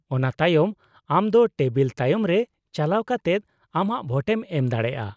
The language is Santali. -ᱚᱱᱟ ᱛᱟᱭᱚᱢ, ᱟᱢ ᱫᱚ ᱴᱮᱵᱤᱞ ᱛᱟᱭᱚᱢ ᱨᱮ ᱪᱟᱞᱟᱣ ᱠᱟᱛᱮᱫ ᱟᱢᱟᱜ ᱵᱷᱳᱴᱮᱢ ᱮᱢ ᱫᱟᱲᱮᱭᱟᱜᱼᱟ ᱾